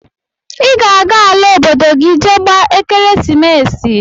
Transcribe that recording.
i ga ala obodo gi je gba ekeresimesi!!